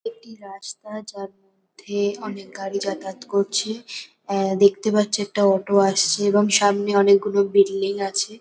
একটি রাস্তা যার মধ্যে অনেক গাড়ি যাতায়াত করছে। আ- দেখতে পাচ্ছি একটা অটো আসছে এবং সামনে অনেকগুলো বিল্ডিং আছে।